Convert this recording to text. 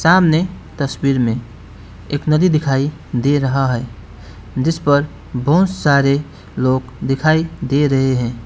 सामने तस्वीर में एक नदी दिखाई दे रहा है जिसपर बहोत सारे लोग दिखाई दे रहे हैं।